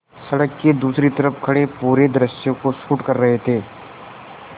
सड़क के दूसरी तरफ़ खड़े पूरे दृश्य को शूट कर रहे थे